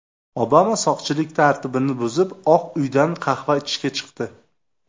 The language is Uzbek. Obama soqchilik tartibini buzib, Oq uydan qahva ichishga chiqdi.